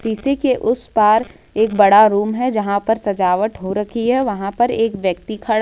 शीशे के उस पार एक बड़ा रूम है जहां पर सजावट हो रखी है वहां पर एक व्यक्ति खड़ा--